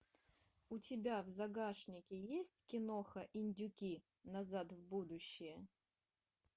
у тебя в загашнике есть киноха индюки назад в будущее